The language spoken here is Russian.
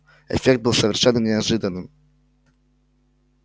эффект был совершенно неожиданным